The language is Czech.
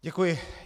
Děkuji.